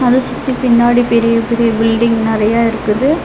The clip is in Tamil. அது சுத்தி பின்னாடி பெரிய பெரிய பில்டிங் நெறையா இருக்குது.